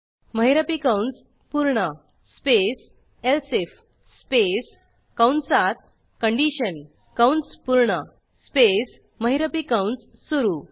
महिरपी कंस पूर्ण स्पेस एलसिफ स्पेस कंसात कंडिशन कंस पूर्ण स्पेस महिरपी कंस सुरू